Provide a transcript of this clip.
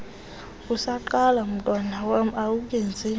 usaqala mntwanam awukenzinto